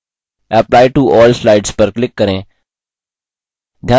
apply to all slides पर click करें